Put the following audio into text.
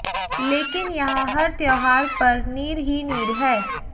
लेकिन यहां हर त्योहार पर नीर ही नीर है